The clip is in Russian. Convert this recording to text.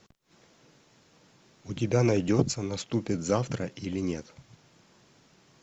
у тебя найдется наступит завтра или нет